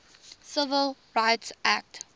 civil rights act